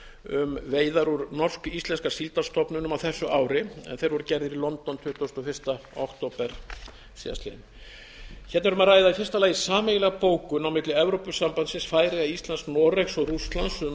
um veiðar úr norsk íslenska síldarstofninum á þessu árin en þeir voru gerðir í london tuttugasta og fyrsta október tvö þúsund og tíu síðastliðinn hérna er um að ræða í fyrsta lagi sameiginlegri bókun milli evrópusambandsins færeyja íslands noregs og rússlands um